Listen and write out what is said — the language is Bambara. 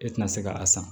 E tɛna se ka a san